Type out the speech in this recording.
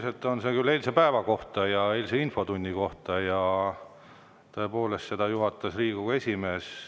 See on küll eilse päeva ja eilse infotunni kohta ja seda juhatas Riigikogu esimees.